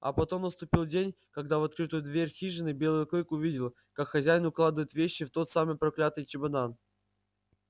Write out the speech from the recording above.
а потом наступил день когда в открытую дверь хижины белый клык увидел как хозяин укладывает вещи в тот самый проклятый чемодан